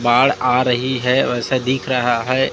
बाढ़ आ रही है वैसा दिख रहा है।